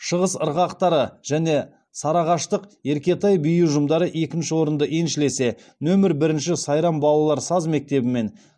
шығыс ырғақтары және сарыағаштық еркетай би ұжымдары екінші орынды еншілесе нөмір бірінші сайрам балалар саз мектебі мен